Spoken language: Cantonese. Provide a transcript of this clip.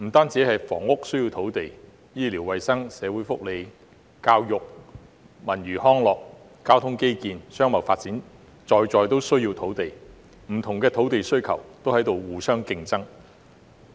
除房屋外，醫療衞生、社會福利、教育、文娛康樂、交通基建、商貿發展等也需要土地，不同的土地需求也在互相競爭。